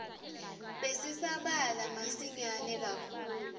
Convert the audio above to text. besisabalala masinyane kakhulu